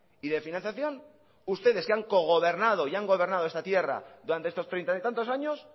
y de financiación ustedes que han cogobernado y han gobernado esta tierra durante estos treinta tantos años